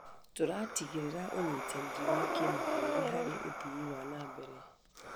Tũratigĩrĩra ũnyitanĩri wa kĩmabũrũri harĩ ũthii wa na mbere.